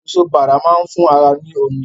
Èso Bàrà máa ń fún ara ní omi